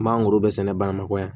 N man goro bɛɛ sɛnɛ bamakɔgɔ yan